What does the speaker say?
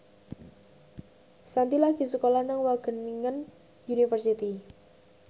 Shanti lagi sekolah nang Wageningen University